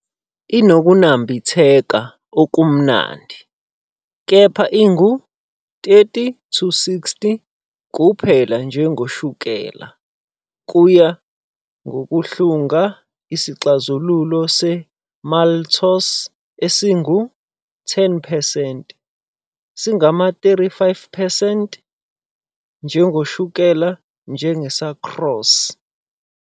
Inokunambitheka okumnandi, kepha ingu-30-60 uphela njengoshukela, kuya ngokuhlunga. Isixazululo se-maltose esingu-10 percent singama-35 percent njengoshukela njenge-sucrose.